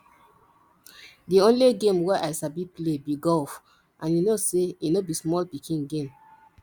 the only game wey i sabi play be golf and you know say e no be small pikin game